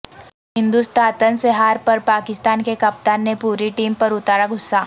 ہندوستاتن سے ہار پر پاکستان کے کپتان نے پوری ٹیم پر اتارا غصہ